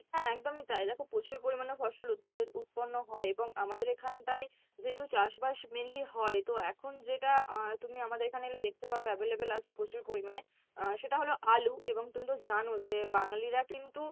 হ্যাঁ একদমই তাই দেখো প্রচুর পরিমাণে ফসল উৎপা~ উৎপণ্য হয় এবং আমাদের এখান টাই যেহেতু চাষ বাস mainly হয়, তো এখন যেটা আহ তুমি আমাদের এখানে এলে দেখতে পাবে available আছে প্রচুর পরিমাণে আহ সেটা হলো আলু এবং তুমি তো জানো যে বাঙালিরা কিন্তু